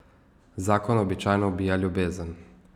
Zakon običajno ubija ljubezen.